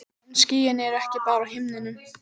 En skýin eru ekki bara á himninum.